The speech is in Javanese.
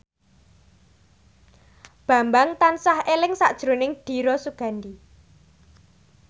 Bambang tansah eling sakjroning Dira Sugandi